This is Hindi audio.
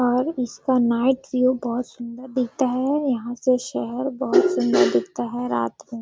और इसका नाईट में व्यू बहुत सुन्दर दिखता है और यहाँ से शहर बहुत सुंदर दिखता हैं रात में --